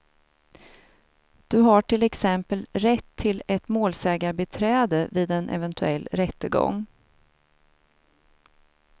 Du har till exempel rätt till ett målsägarbiträde vid en eventuell rättegång.